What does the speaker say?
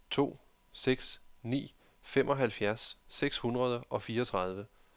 tre to seks ni femoghalvfjerds seks hundrede og fireogtredive